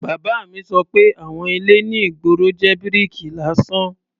Bàbá mi sọ pé àwon ilé ní ìgboro jẹ́ bíríkì lásán.